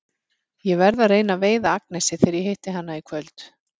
Ég verð að reyna að veiða Agnesi þegar ég hitti hana í kvöld.